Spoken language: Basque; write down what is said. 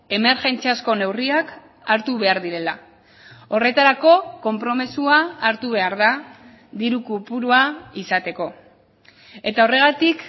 emergentziazko neurriak hartu behar direla horretarako konpromisoa hartu behar da diru kopurua izateko eta horregatik